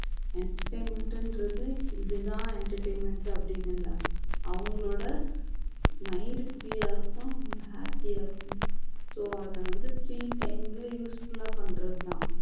entertainment ன்றது இதுதான் entertainment அப்படின்னு இல்ல அவங்களோட mind free யா இருக்கும் அவங்க happy ஆ இருக்கும் so அத வந்து free time ல useful ஆ பண்றதுதான்